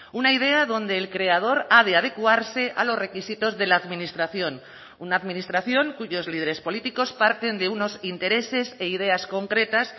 una idea donde el creador ha de adecuarse a los requisitos de la administración una administración cuyos líderes políticos parten de unos intereses e ideas concretas